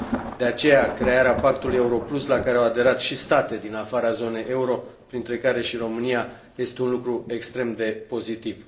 De aceea, crearea Pactului euro plus, la care au aderat și state din afara zonei euro, printre care și România, este un lucru extrem de pozitiv.